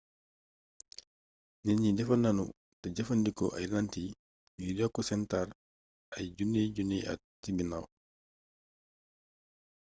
nit ñi defar nañu te jëfandikoo ay làntiy ngir yokk seen taar ay junniy-junniy at ci ginaaw